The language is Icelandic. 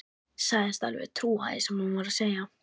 Sagðist alveg trúa því sem hún var að segja.